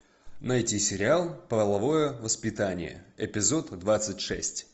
найти сериал половое воспитание эпизод двадцать шесть